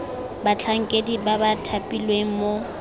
batlhankedi ba ba thapilweng mo